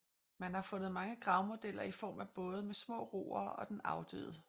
Man har fundet mange gravmodeller i form af både med små roere og den afdøde